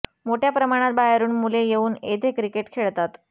मोठ्या प्रमाणात बाहेरून मुले येऊन येथे क्रिकेट खेळतात